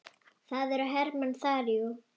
Það eru hermenn þar, jú.